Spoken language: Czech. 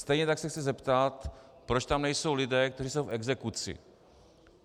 Stejně tak se chci zeptat, proč tam nejsou lidé, kteří jsou v exekuci.